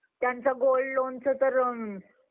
त्यांचं gold loanचं तर